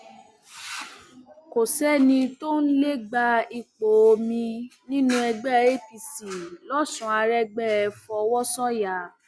kò sẹni tó lè gba ipò mi nínú ẹgbẹ apc lọsùn aregbe fọwọ sọyà